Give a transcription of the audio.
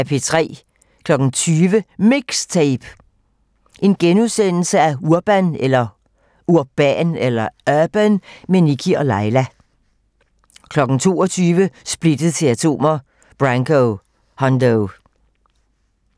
20:00: MIXTAPE - Urban med Nikkie & Laila * 22:00: Splittet til atomer - Branco: Hundo